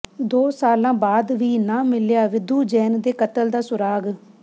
ਦੋ ਸਾਲਾਂ ਬਾਅਦ ਵੀ ਨਾ ਮਿਲਿਆ ਵਿਧੂ ਜੈਨ ਦੇ ਕਤਲ ਦਾ ਸੁਰਾਗ਼